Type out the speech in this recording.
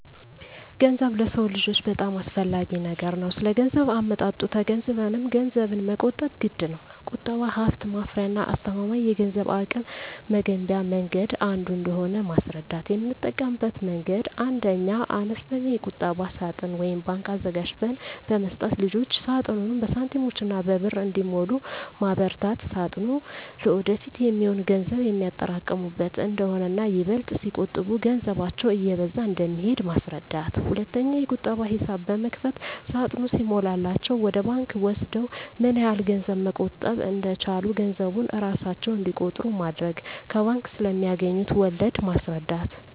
ገንዘብ ለሰው ልጆች በጣም አስፈላጊ ነገር ነው ስለገንዘብ አመጣጡ ተገንዝበንም ገንዘብን መቆጠብ ግድነው። ቁጠባ ሀብት ማፍሪያና አስተማማኝ የገንዘብ አቅም መገንቢያ መንገድ አንዱ እንደሆነ ማስረዳት: የምጠቀምበት መንገድ 1ኛ, አነስተኛ የቁጠባ ሳጥን (ባንክ) አዘጋጅተን በመስጠት ልጆች ሳጥኑን በሳንቲሞችና በብር እንዲሞሉ ማበርታት ሳጥኑ ለወደፊት የሚሆን ገንዘብ የሚያጠራቅሙበት እንደሆነና ይበልጥ ሲቆጥቡ ገንዘባቸው እየበዛ እንደሚሄድ ማስረዳት። 2ኛ, የቁጠባ ሂሳብ በመክፈት ሳጥኑ ሲሞላላቸው ወደ ባንክ ወስደው ምን ያህል ገንዘብ መቆጠብ እንደቻሉ ገንዘቡን እራሳቸው እንዲቆጥሩ ማድረግ። ከባንክ ስለማገኙት ወለድ ማስረዳት።